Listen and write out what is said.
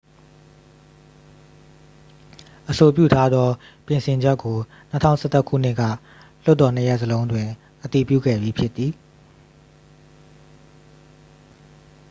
အဆိုပြုထားသော ပြင်ဆင်ချက်ကို 2011 ခုနှစ်က လွှတ်တော်နှစ်ရပ်စလုံးတွင် အတည်ပြုခဲ့ပြီးဖြစ်သည်